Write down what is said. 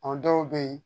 A dɔw bɛ yen